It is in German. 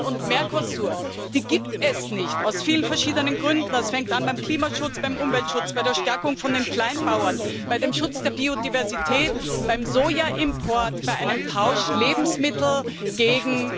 und Mercosur die gibt es aus vielen verschiedenen Gründen nicht. Das fängt an beim Klimaschutz, beim Umweltschutz, bei der Stärkung der Kleinbauern, beim Schutz der Biodiversität, beim Sojaimport, bei einem Tausch Lebensmittel gegen